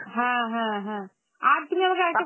হ্যাঁ হ্যাঁ হ্যাঁ, আর তুমি আমাকে আর একট~